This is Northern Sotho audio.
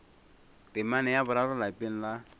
temana ya boraro lapeng la